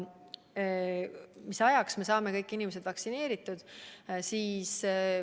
Mis ajaks me saame kõik inimesed vaktsineeritud?